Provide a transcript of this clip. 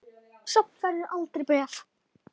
Samt færð þú aldrei bréf.